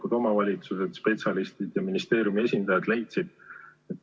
Kutsutud olid minister Liina Kersna ja Haridus- ja Teadusministeeriumi välishindamisosakonna juhataja Kristin Hollo.